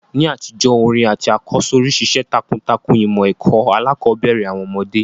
NÍ àtijó, orin àtí àkọ́sórí ṣiṣẹ́ takuntakun ìmọ̀ ẹ́ko alákòbẹ̀rẹ̀ àwon ọ́mọ́dé